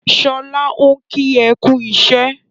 Sọlá ń kí ẹ kú iṣẹ́.